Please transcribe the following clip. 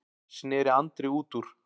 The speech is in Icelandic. sneri Andri út úr.